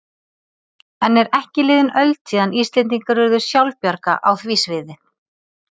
Enn er ekki liðin öld síðan Íslendingar urðu sjálfbjarga á því sviði.